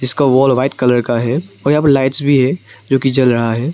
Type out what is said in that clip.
इसका wall white colour का है यहां पर लाइट्स भी है जो कि जल रहा है।